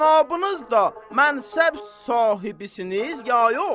Cənabınız da mənsəb sahibisiniz, ya yox?